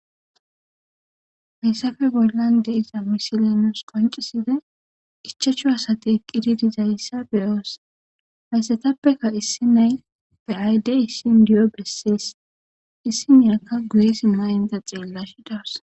Haysappe bollan de'iza mishilen nusi qonccida ichchashu asati eqqiddi de'izase be'os. Haysatappeka issi nay be'ayida de'ishin indiyo besses. Issiniyakka guye simmada tseellishe de'osona.